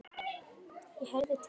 ég heyrði til ykkar!